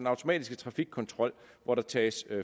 automatiske trafikkontrol hvor der tages